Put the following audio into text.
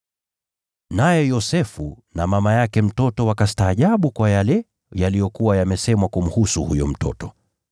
Naye Yosefu na mama yake mtoto wakastaajabu kwa yale yaliyokuwa yamesemwa kumhusu huyo mtoto.